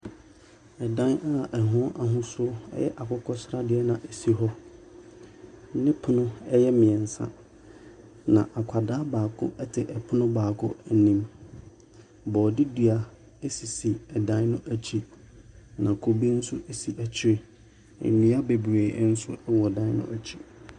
Dan a ɛho ahosuo yɛ akokɔsradeɛ si hɔ ne pono a ɛyɛ mmiɛnsa, na akwadaa baako te pono baako anim. Borɔde dua sisi dan no akyi, na kube nso si akyi, nnua bebree nso wɔ dan no akyi.